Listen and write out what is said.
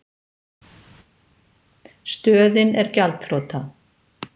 Stöðin er gjaldþrota.